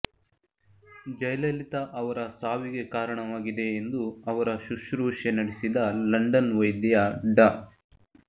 ಜಯಲಲಿತಾ ಅವರ ಸಾವಿಗೆ ಕಾರಣವಾಗಿದೆ ಎಂದು ಅವರ ಶ್ರುಶೂಷೆ ನಡೆಸಿದ ಲಂಡನ್ ವೈದ್ಯ ಡಾ